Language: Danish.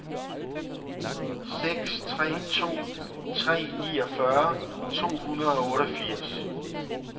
seks tre to tre niogfyrre to hundrede og otteogfirs